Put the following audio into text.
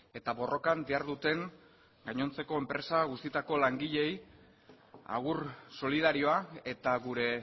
eta borrokan diharduten gainontzeko enpresa guztietako langileei agur solidarioa eta gure